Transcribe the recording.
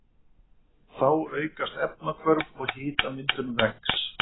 Þá aukast efnahvörf og hitamyndun vex.